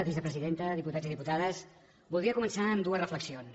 vicepresidenta diputats i diputades voldria començar amb dues reflexions